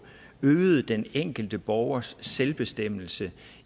øget den enkelte borgers selvbestemmelse